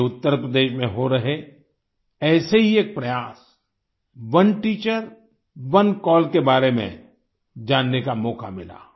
मुझे उत्तरप्रदेश में हो रहे ऐसे ही एक प्रयास ओने टीचर ओने कॉल के बारे में जानने का मौका मिला